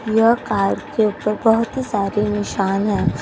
यह कार के ऊपर बहुत ही सारे निशान हैं।